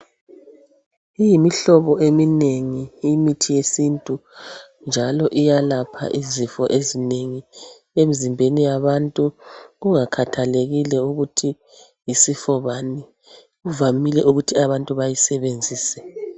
Iyimihlobo eminengi imithi yesintu njalo iyalapha izifo ezinengi emzimbeni yabantu kungakhathalekile ukuthi yisifo bani. Kuvamile ukuthi abantu abanengi bayisebenzise